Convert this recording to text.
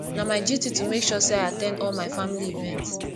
na my duty to make sure sey i at ten d all my family event